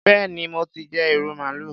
Béèni mo ti jẹ ìrù màálù.